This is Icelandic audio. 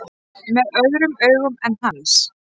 Með öðrum augum en hans.